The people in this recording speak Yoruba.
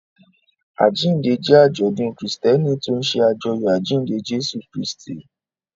Àjíǹde jẹ́ àjọ̀dún Kristẹni tó ń ṣe àjọyọ̀ àjíǹde Jésù Kristi.